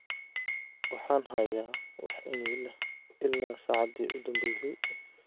waxaan hayaa wax iimayl ah ilaa saacadii u dambaysay